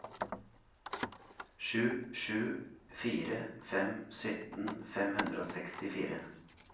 sju sju fire fem sytten fem hundre og sekstifire